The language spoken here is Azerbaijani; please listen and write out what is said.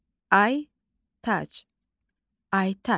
Aytac.